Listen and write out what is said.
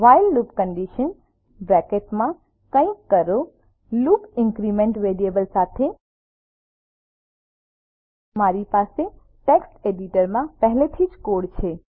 while loop condition કંઈક કરો loop increment variable સાથે મારી પાસે ટેક્સ્ટ એડિટરમાં પહેલેથી જ કોડ છે